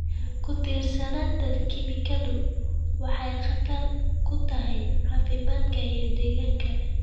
Ku-tiirsanaanta kiimikadu waxay khatar ku tahay caafimaadka iyo deegaanka.